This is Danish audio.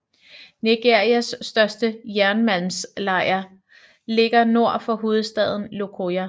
Nigerias største jernmalmsleje ligger nord for hovedstaden Lokoja